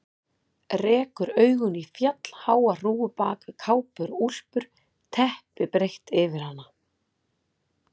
Rekur augun í fjallháa hrúgu bak við kápur og úlpur, teppi breitt yfir hana.